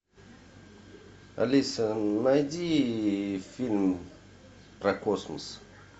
алиса найди фильм про космос